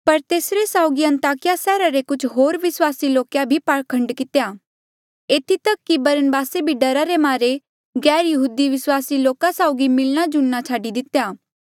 पर तेसरे साउगी अन्ताकिया सैहरा रे कुछ होर विस्वासी लोके भी पाखंड कितेया एथी तक कि बरनबासे भी डरा रे मारे गैरयहूदी विस्वासी लोका साउगी मिलणाजुलणा छाडी दितेया